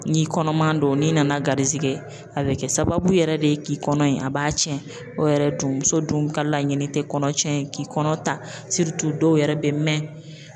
N'i kɔnɔman don n'i nana garijɛgɛ a bɛ kɛ sababu yɛrɛ de ye k'i kɔnɔ in a b'a tiɲɛ o yɛrɛ dun muso dun ka laɲini tɛ kɔnɔ tiɲɛ ye k'i kɔnɔ ta dɔw yɛrɛ bɛ mɛn